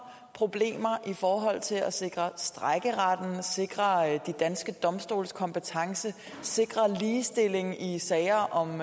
problemer i forhold til at sikre strejkeret sikre de danske domstoles kompetence sikre ligestilling i sager om